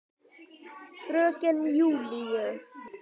Fröken Júlíu.